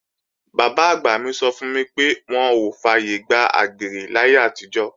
Bàbá-àgbà mi sọ fún mi pé wọn ò fàyègbà àgbèrè láyé àtijọ́